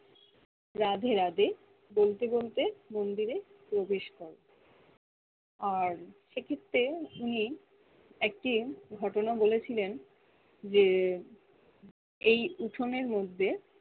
রাধে রাধে বলতে বলতে মন্দিরে প্রবেশ কর আর সে ক্ষেত্রে উনি একটিন ঘটনা বলেছিলেন যে এই উঠনের মধ্যে